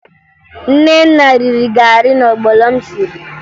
Nnenna riri garị na ọgbọnọ m siri